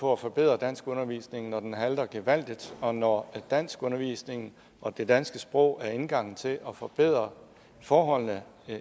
på at forbedre danskundervisningen når den halter gevaldigt og når danskundervisningen og det danske sprog er indgangen til at forbedre forholdene